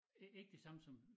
Ikke de samme som